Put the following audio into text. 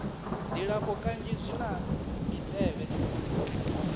dzilafho kanzhi zwi na mitevhe